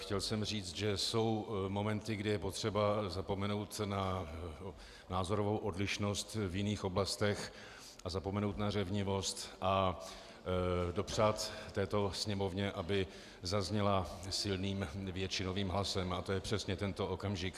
Chtěl jsem říct, že jsou momenty, kdy je potřeba zapomenout na názorovou odlišnost v jiných oblastech a zapomenout na řevnivost a dopřát této Sněmovně, aby zazněla silným většinovým hlasem, a to je přesně tento okamžik.